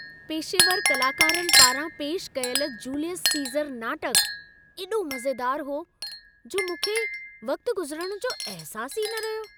पेशेवर कलाकारनि पारां पेशि कयल जूलियस सीज़र नाटक एॾो मज़ेदार हो, जो मूंखे वक़्ति गुज़रणु जो अहिसासु ई न रहियो।